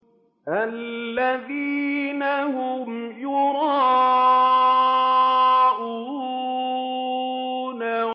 الَّذِينَ هُمْ يُرَاءُونَ